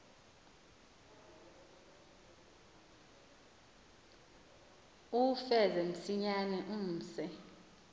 uwufeze msinyane umse